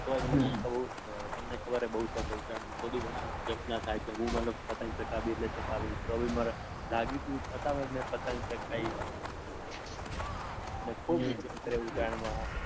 તોય મને તમને કલહબર હે બૌ શોખ ચધે ઉત્તરાયણનો તો બી મને જપ ના થાય કે હું મતલબ પતંગ ચાગાવીશ એટલે ચાગાવીશ. તો બી મને લાગ્યું તું જ કે અમે પતંગ ચાગાવીશ ને ખુબ માજા કરી ઉત્તરાયણમાં